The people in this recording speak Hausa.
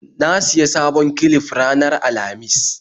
Na siya sabon clif ranar Alhamis